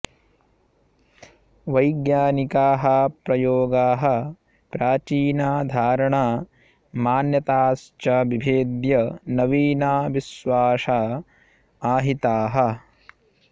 वैज्ञानिकाः प्रयोगाः प्राचीना धारणा मान्यताश्च विभेद्य नवीना विश्वासा आहिताः